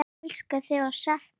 Elska þig og sakna!